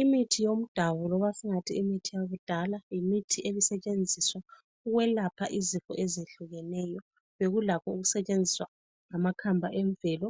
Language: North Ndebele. Imithi yomdabu loba singathi imithi yakudala, yimithi ebisetshenziswa ukwelapha izifo ezehlukeneyo. Bekulakho ukusetshenziswa amakhamba emvelo